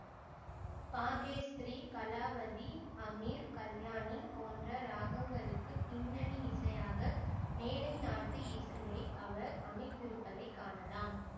பாகேஸ்ரீ கலாவதி ஹமிர் கல்யாணி போன்ற ராகங்களுக்கு பின்னணி இசையாக மேலை நாட்டு இசையை அவர் அமைத்திருப்பதைக் காணலாம்